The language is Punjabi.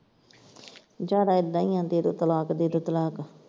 ਜਿਆਦਾ ਏਦਾਂ ਈ ਦੇ ਦਿਓ ਤਲਾਕ ਦਿਓ ਤਲਾਕ।